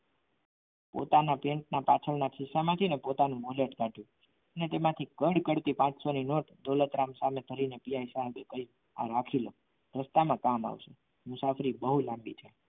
પોતાના પેન્ટના પાછળના ખીચામાંથી પોતાનું wallet કાઢ્યું અને તેમાંથી કદ કરતી પાંચસો ની note દોલતરામ સામે ધરીને પીએસઆઇ સાહેબ કીધું કે આ રાખી લો રસ્તામાં કામ આવશે મુસાફરી બહુ લાંબી છે.